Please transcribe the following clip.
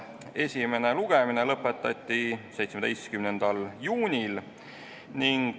Esimene lugemine lõpetati 17. juunil.